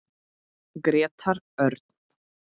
Grétar Örn.